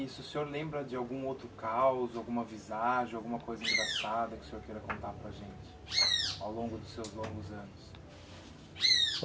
E se o senhor lembra de algum outro caos, alguma visagem, alguma coisa engraçada que o senhor queira contar para gente, ao longo dos seus longos anos?